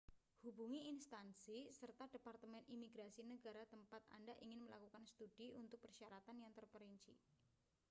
hubungi institusi serta departemen imigrasi negara tempat anda ingin melakukan studi untuk persyaratan yang terperinci